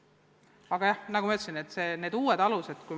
Aga nagu ma ütlesin, tulekul on uued alused.